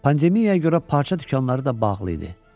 Pandemiyaya görə parça dükanları da bağlı idi.